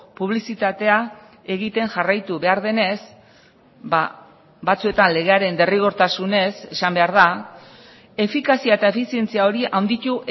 publizitatea egiten jarraitu behar denez batzuetan legearen derrigortasunez esan behar da efikazia eta efizientzia horia handitu